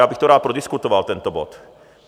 Já bych to rád prodiskutoval, tento bod.